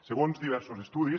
segons diversos estudis